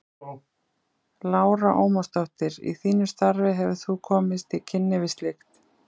Lára Ómarsdóttir: Í þínu starfi hefur þú komist í kynni við slíkt?